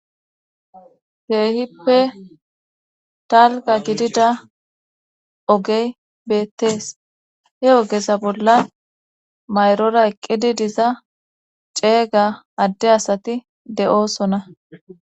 Keehippe talga gidida ogey beettees he ogeza bolla mayrora eqqidi diza ceega adde asati de'oosona.